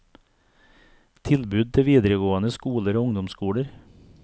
Tilbud til videregående skoler og ungdomsskoler.